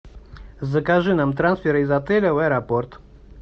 закажи нам трансфер из отеля в аэропорт